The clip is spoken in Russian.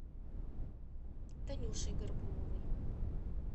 танюшей горбуновой